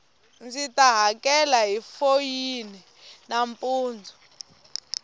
ndzita hakela hi foyini nampundu